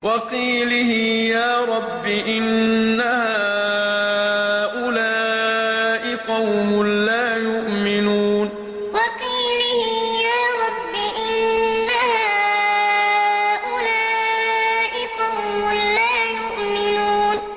وَقِيلِهِ يَا رَبِّ إِنَّ هَٰؤُلَاءِ قَوْمٌ لَّا يُؤْمِنُونَ وَقِيلِهِ يَا رَبِّ إِنَّ هَٰؤُلَاءِ قَوْمٌ لَّا يُؤْمِنُونَ